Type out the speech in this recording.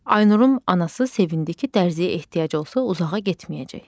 Aynurun anası sevindi ki, dərzəyə ehtiyac olsa uzağa getməyəcək.